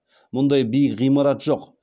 мұндай биік ғимарат жоқ